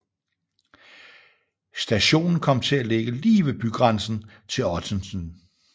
Stationen kom til at ligge lige ved bygrænsen til Ottensen